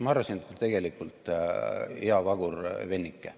Ma arvasin, et ta tegelikult on hea vagur vennike.